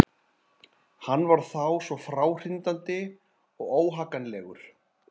Hann var þá svo fráhrindandi og óhagganlegur.